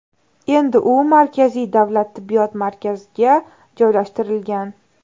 Endi u markaziy davlat tibbiyot markaziga joylashtirilgan.